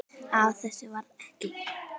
Af þessu varð ekki.